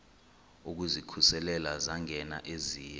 ukuzikhusela zangena eziya